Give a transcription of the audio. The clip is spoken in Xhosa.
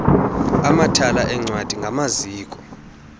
amathala eencwadi ngamaziko